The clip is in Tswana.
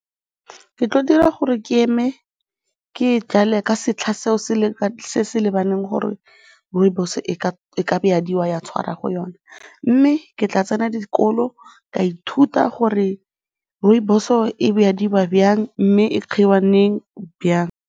Ke tla dira gore ke eme ke e jale ka setlha seo se se lebaneng gore rooibos-o e ka jwadiwa ya tshwara go yona mme ke tla tsena dikolo ka ithuta gore rooibos-o e jwadiwa jang mme e giwa leng, jang.